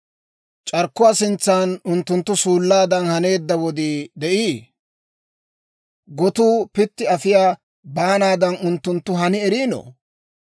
C'arkkuwaa sintsan unttunttu suullaadan haneedda wodii de'ii? Gotuu pitti afiyaa baanaadan unttunttu hani erino?